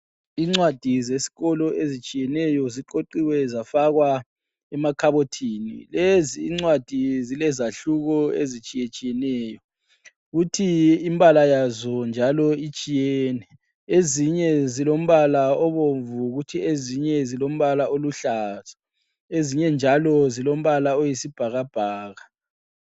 Incwadi zesikolo ezitshiyeneyo ziqoqiwe zafakwa emakhabothini lezi incwadi zilezahluko ezitshiyetshiyeneyo futhi imbala yazo njalo itshiyene, ezinye zilombala obomvu kuthi ezinye zilombala oluhlaza ezinye njalo zilombala oyisibhakabhaka.